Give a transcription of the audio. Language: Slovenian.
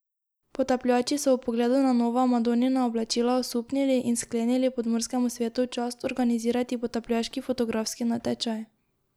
Potapljači so ob pogledu na nova Madonina oblačila osupnili in sklenili podmorskemu svetu v čast organizirati potapljaški fotografski natečaj.